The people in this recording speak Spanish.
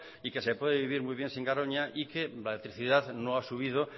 y que se puede vivir muy bien sin garoña y que la electricidad no ha subido